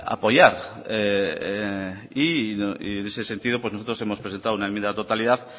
apoyar y en ese sentido pues nosotros hemos presentado una enmienda de totalidad